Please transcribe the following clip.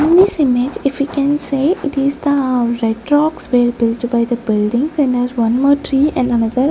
in this image if we can say it is the retrox buildings and there's one more tree and another--